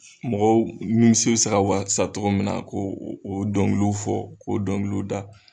Mɔgɔw nimisi bɛ se ka wasa cogo min na ko o dɔnkiliw fɔ k'o dɔnkiliw da.